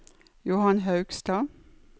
Johan Haugstad